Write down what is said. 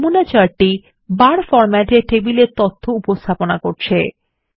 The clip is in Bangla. নমুনা চার্ট বার ফরমেট এ টেবিলের তথ্যর উপস্থাপনা দেখায়